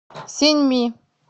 синьми